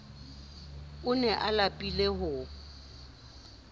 o ne a lapile ho